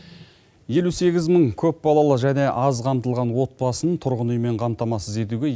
елу сегіз мың көпбалалы және аз қамтылған отбасын тұрғын үймен қамтамасыз етуге